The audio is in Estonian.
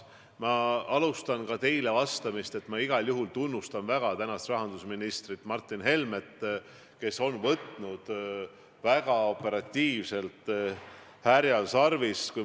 Ma alustan ka teie põhiküsimusele vastamist sellega, et ma igal juhul tunnustan väga rahandusminister Martin Helmet, kes on väga operatiivselt härjal sarvist haaranud.